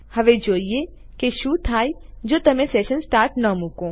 હવે ચાલો હું તમને બતાઉ કે કે શું થાય જો તમે સેશન સ્ટાર્ટ ન મુકો